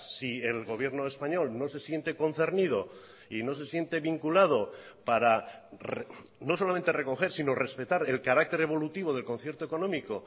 si el gobierno español no se siente concernido y no se siente vinculado para no solamente recoger sino respetar el carácter evolutivo del concierto económico